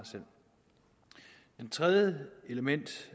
det tredje element